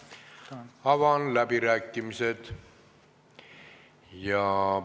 Avan läbirääkimised.